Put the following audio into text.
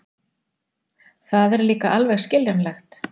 Það er líka alveg skiljanlegt.